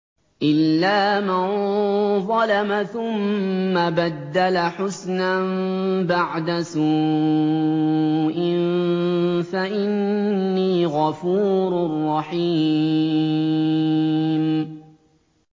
إِلَّا مَن ظَلَمَ ثُمَّ بَدَّلَ حُسْنًا بَعْدَ سُوءٍ فَإِنِّي غَفُورٌ رَّحِيمٌ